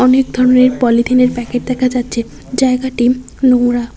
অনেক ধরনের পলিথিনের প্যাকেট দেখা যাচ্ছে জায়গাটি নোংরা।